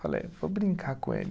Falei, vou brincar com ele.